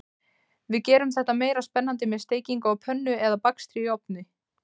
Við gerum þetta meira spennandi með steikingu á pönnu eða bakstri í ofni.